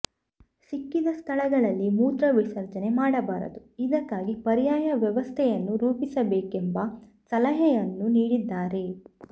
ಸಿಕ್ಕಿದ ಸ್ಥಳಗಳಲ್ಲಿ ಮೂತ್ರ ವಿಸರ್ಜನೆ ಮಾಡಬಾರದು ಇದಕ್ಕಾಗಿ ಪರ್ಯಾಯ ವ್ಯವಸ್ಥೆಯನ್ನು ರೂಪಿಸಬೇಕೆಂಬ ಸಲಹೆಯನ್ನು ನೀಡಿದ್ದಾರೆ